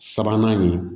Sabanan nin